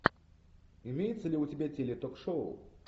имеется ли у тебя теле ток шоу